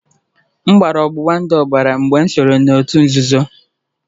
M gbara ọgbụgba ndụ ọbara mgbe m sonyeere òtù nzuzo